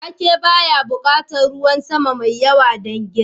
Wake baya buƙatar ruwan sama mai yawa don girma.